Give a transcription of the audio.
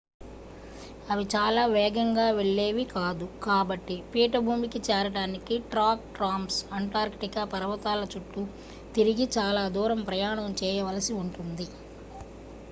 అవి చాలా వేగంగా వెళ్లేవి కాదు కాబట్టి పీఠభూమికి చేరడానికి ట్రాక్ ట్రాంస్అంటార్కిటిక్ పర్వతాల చుట్టూ తిరిగి చాలా దూరం ప్రయాణం చేయవలసి ఉంటుంది